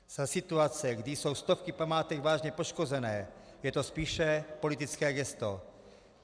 Za situace, kdy jsou stovky památek vážně poškozené, je to spíše politické gesto.